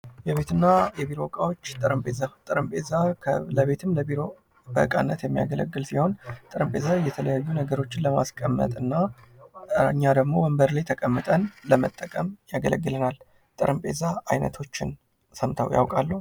የቤትና የቢሮ እቃዎች ጠረጴዛ ጠረጴዛ ለቤትም ለቢሮም የሚያገለግል ሲሆን ጠረጴዛ የተለያዩ ነገሮችን ለማስቀመጥና እኛ ደግሞ ወንበር ላይ ተቀምጠን ለመጠቀም ያገለግልናል። ጠረጴዛ አይነቶ ሰምተው ያውቃሉ?